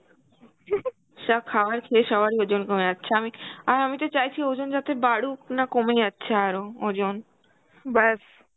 সব খাবার খেয়ে সবারই ওজন কমে যাচ্ছে আমি, আর আমি তো চাইছি ওজন যাতে বারুক না কমে যাচ্ছে আরো ওজন ব্যাস